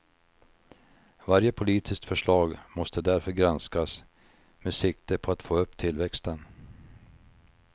Varje politiskt förslag måste därför granskas med sikte på att få upp tillväxten.